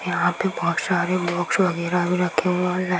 यहाँ पे बहुत सारे बॉक्स वगेरह भी रखे हुए हैं।